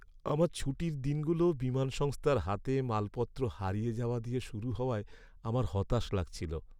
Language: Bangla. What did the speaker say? আমার ছুটির দিনগুলো বিমান সংস্থার হাতে মালপত্র হারিয়ে যাওয়া দিয়ে শুরু হওয়ায় আমার হতাশ লাগছিল।